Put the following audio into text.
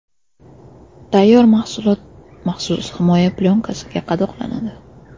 Tayyor mahsulot maxsus himoya plyonkasida qadoqlanadi.